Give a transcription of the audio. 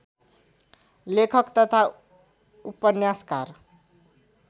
लेखक तथा उपन्यासकार